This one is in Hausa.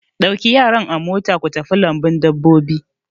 Ɗauki yaran a mota ku tafi lambun dabbobi!